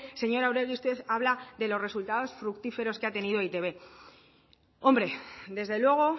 señora oregi usted habla de los resultados fructíferos que ha tenido e i te be hombre desde luego